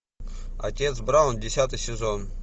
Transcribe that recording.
отец браун десятый сезон